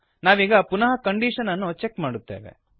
ನಾವೀಗ ಪುನಃ ಕಂಡೀಶನ್ ಅನ್ನು ಚೆಕ್ ಮಾಡುತ್ತೇವೆ